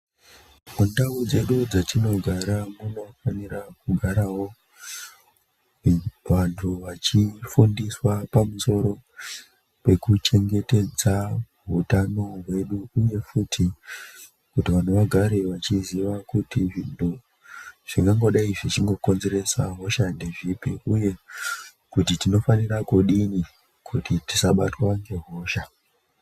Mundau dzedu dzatinogara munofanira kugarawo vantu vachifundiswa pamusoro pekuchengetedza utano hwedu uye futi kuti vanhu vagare vachiziva kuti munhu, zvingangodai zvichingokonzeresa hosha ngezvipi uye kuti tinofanira kudini kuti tisabatwa ngehosha.